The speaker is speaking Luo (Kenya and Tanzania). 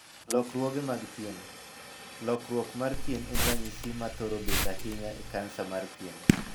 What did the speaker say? Lokruoge mag pien. Lokruok mar pien en ranyisi ma thoro bet ahinya e kansa mar pien.